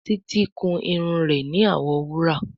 Títí kún Irun rẹ ní awọ wúrà.